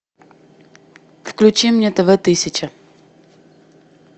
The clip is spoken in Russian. включи мне тв тысяча